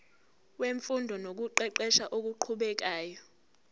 wemfundo nokuqeqesha okuqhubekayo